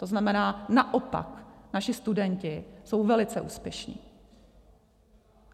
To znamená, naopak naši studenti jsou velice úspěšní.